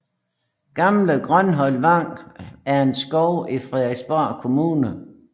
Gamle Grønholt Vang er en skov i Fredensborg Kommune